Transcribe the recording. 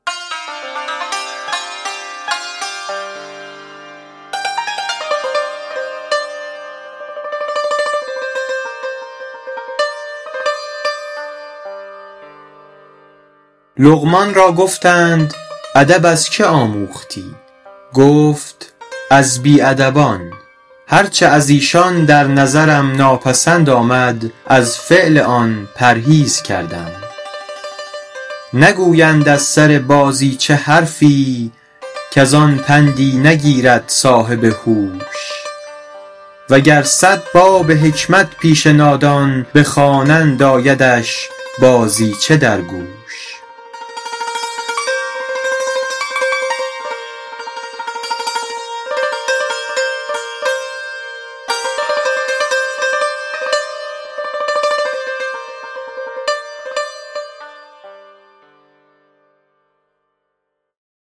لقمان را گفتند ادب از که آموختی گفت از بی ادبان هر چه از ایشان در نظرم ناپسند آمد از فعل آن پرهیز کردم نگویند از سر بازیچه حرفی کز آن پندی نگیرد صاحب هوش و گر صد باب حکمت پیش نادان بخوانند آیدش بازیچه در گوش